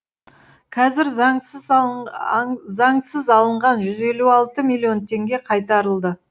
қазір заңсыз алынған жүз елу алты миллион теңге қайтарылды